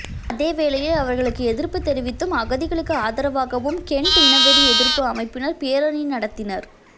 அதேவேளையில் அவர்களுக்கு எதிர்ப்பு தெரிவித்தும் அகதிகளுக்கு ஆதரவாகவும் கெண்ட் இனவெறி எதிர்ப்பு அமைப்பினர் பேரணி நடத்தினர்